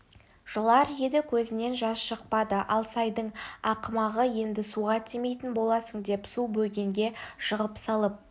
жылар еді көзінен жас шықпады алсайдың ақымағы енді суға тимейтін боласың деп су бөгенге жығып салып